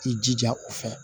I jija o fɛ